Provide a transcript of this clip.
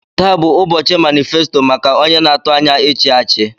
Taa bụ ụbọchị manịfesto maka onye na-atụ anya ịchi achị.